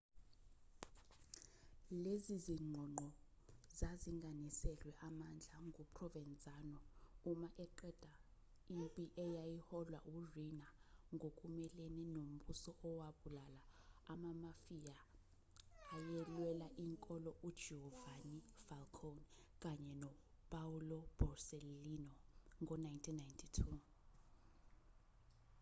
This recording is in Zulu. lezi zingqongqo zazilinganiselwe amandla nguprovenzano uma eqeda impi eyayiholwa uriina ngokumelene nombuso owabulala amamafia ayelwela inkolo ugiovanni falcone kanye nopaolo borsellino ngo-1992